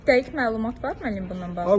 Dəqiq məlumat var, müəllim, bununla bağlı?